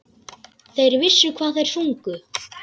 Þeir vissu hvað þeir sungu.